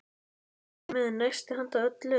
Ég er með nesti handa öllum.